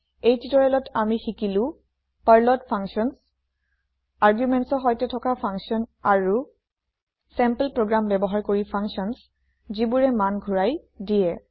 এই টিওটৰিয়েলত আমি শিকিলো পাৰ্লত ফাংচাঞ্চ argumentsৰ সৈতে থকা ফাংচাঞ্চ আৰু চেম্পল প্ৰগ্ৰেম ব্যৱহাৰ কৰি ফাংচাঞ্চ যিবোৰে মান ঘোৰাই দিয়ে